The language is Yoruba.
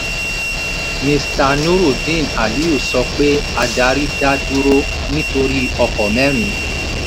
mr nurudeen aliyu sọ pé adarí dá dúró nítorí ọkọ́ mẹ́rin.